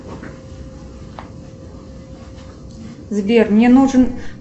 сбер мне нужен